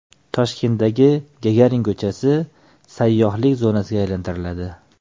Toshkentdagi Gagarin ko‘chasi sayyohlik zonasiga aylantiriladi.